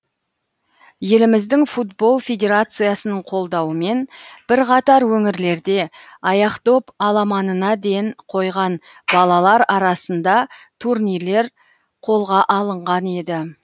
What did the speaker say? еліміздің футбол федерациясының қолдауымен бірқатар өңірлерде аяқдоп аламанына ден қойған балалар арасында турнирлер қолға алынған еді